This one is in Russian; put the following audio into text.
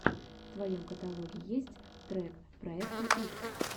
в твоем каталоге есть трек проекта икс